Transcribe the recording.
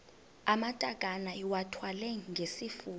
amatakane iwathwale ngesifuba